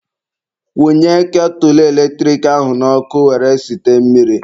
Kwunye ketụlụ eletrik ahụ n'ọkụ were site mmiri.